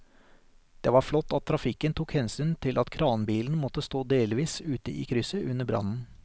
Det var flott at trafikken tok hensyn til at kranbilen måtte stå delvis ute i krysset under brannen.